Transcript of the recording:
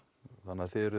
eruð